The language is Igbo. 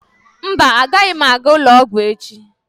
Mba, agaghị m aga ụlọ ọgwụ echi.